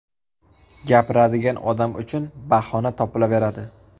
Gapiradigan odam uchun bahona topilaveradi.